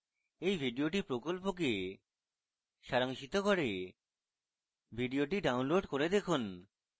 এই video প্রকল্পকে সারাংশিত করে video download করে দেখুন